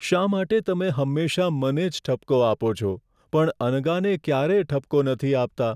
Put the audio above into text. શા માટે તમે હંમેશા મને જ ઠપકો આપો છો, પણ અનગાને ક્યારેય ઠપકો નથી આપતા?